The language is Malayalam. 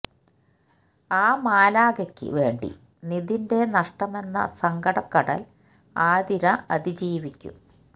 ആ മാലാഖയ്ക്ക് വേണ്ടി നിതിന്റെ നഷ്ടമെന്ന സങ്കട കടൽ ആതിര അതിജീവിക്കും